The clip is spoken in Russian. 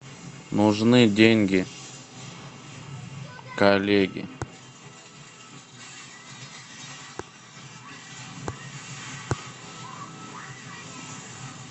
нужны деньги коллеге